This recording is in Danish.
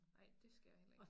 Ej dét skal jeg heller ikke